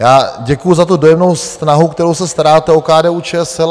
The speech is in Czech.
Já děkuju za tu dojemnou snahu, kterou se staráte o KDU-ČSL.